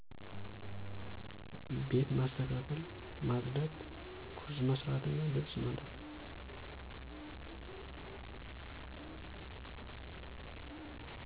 ቤት ማስተካከል፣ ማፅዳት፣ ቁርስ መስራት እና ልብስ ማጠብ